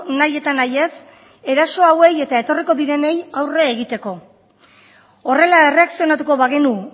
nahi eta nahi ez eraso hauei eta etorriko direnei aurre egiteko horrela erreakzionatuko bagenu